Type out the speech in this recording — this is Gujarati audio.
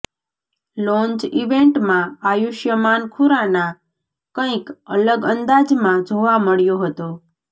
લોન્ચ ઈવેન્ટમાં આયુષ્માન ખુરાના કઈક અલગ અંદાજમાં જોવા મળ્યો હતો